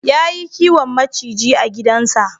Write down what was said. Yayi kiwon maciji a gidansa.